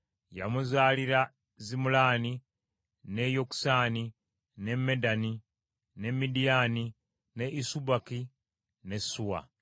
Yamuzaalira Zimulaani, ne Yokusaani, ne Medani, ne Midiyaani, ne Isubaki ne Suwa.